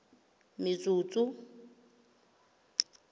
metsotso